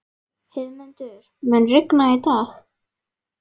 Heiðmundur, mun rigna í dag?